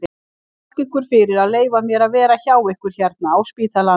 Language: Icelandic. Ég þakka ykkur fyrir að leyfa mér að vera hjá ykkur hérna á spítalanum.